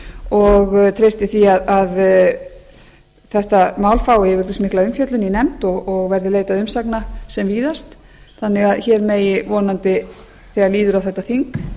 og treysti því að þetta mál fái yfirgripsmikla umfjöllun í nefnd og verði leitað umsagna sem víðast þannig að hér megi vonandi þegar líður á þetta þing